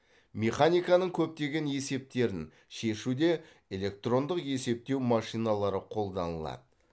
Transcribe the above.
механиканың көптеген есептерін шешуде электрондық есептеу машиналары қолданылады